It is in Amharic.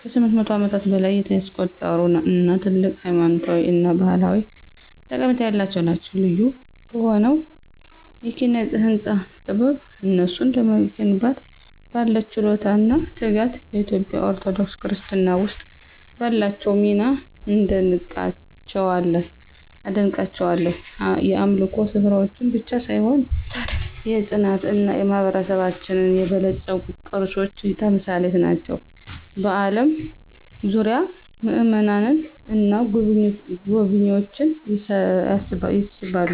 ከ800 ዓመታት በላይ ያስቆጠሩ እና ትልቅ ሃይማኖታዊ እና ባህላዊ ጠቀሜታ ያላቸው ናቸው። ልዩ በሆነው የኪነ-ህንፃ ጥበብ፣ እነሱን ለመገንባት ባለው ችሎታ እና ትጋት፣ በኢትዮጵያ ኦርቶዶክስ ክርስትና ውስጥ ባላቸው ሚና አደንቃቸዋለሁ። የአምልኮ ስፍራዎች ብቻ ሳይሆኑ የታሪክ፣ የፅናት እና የማህበረሰባችን የበለፀጉ ቅርሶች ተምሳሌት ናቸው፣ ከአለም ዙሪያ ምእመናንን እና ጎብኝዎችን ይስባሉ።